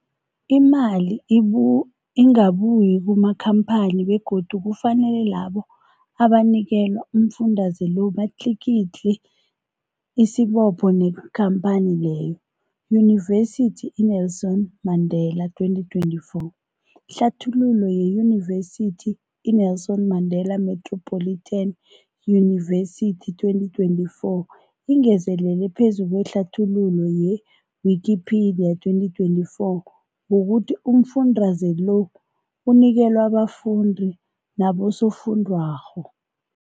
Imali ibu ingabuyi kumakhamphani begodu kufanele labo abanikelwa umfundaze lo batlikitliki isibopho neenkhamphani leyo, Yunivesity i-Nelson Mandela 2024. Ihlathululo yeYunivesithi i-Nelson Mandela Metropolitan University, 2024, ingezelele phezu kwehlathululo ye-Wikipedia, 2024, ngokuthi umfundaze lo unikelwa abafundi nabosofundwakgho.